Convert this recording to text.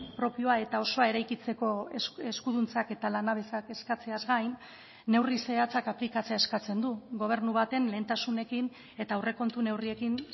propioa eta osoa eraikitzeko eskuduntzak eta lanabesak eskatzeaz gain neurri zehatzak aplikatzea eskatzen du gobernu baten lehentasunekin eta aurrekontu neurriekin